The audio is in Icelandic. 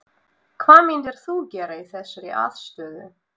Hvað myndir þú gera í þessari aðstöðu?